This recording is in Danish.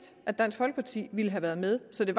at dansk folkeparti ville have været med så det